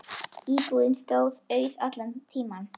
Íbúðin stóð auð allan tímann.